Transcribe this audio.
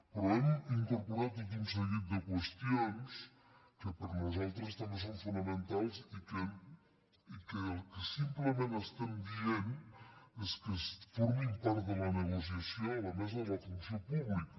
però hi hem incorporat tot un seguit de qüestions que per nosaltres també són fonamentals i que el que sim·plement estem dient és que formin part de la negoci·ació a la mesa de la funció pública